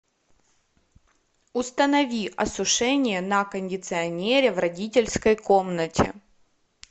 установи осушение на кондиционере в родительской комнате